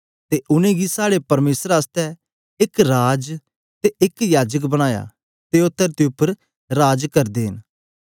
ते उनेंगी साड़े परमेसर आसतै एक राज ते एक याजक बनाया ते ओ तरती उपर राज करदे न